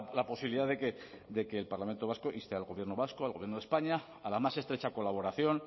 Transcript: la posibilidad de que el parlamento vasco inste al gobierno vasco al gobierno de españa a la más estrecha colaboración